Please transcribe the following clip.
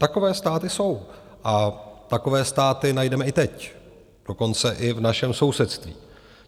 Takové státy jsou a takové státy najdeme i teď, dokonce i v našem sousedství.